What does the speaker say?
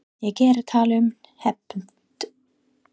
Er ég að tala um hefnd?